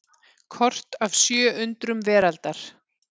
Kort af sjö undrum veraldar.